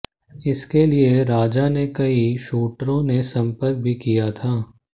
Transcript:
इसके लिये राजा ने कई शूटरों ने संपर्क भी किया था